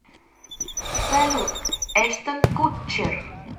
салют эштон кутчер